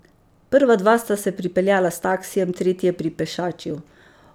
Prva dva sta se pripeljala s taksijem, tretji je pripešačil.